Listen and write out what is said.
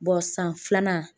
san filanan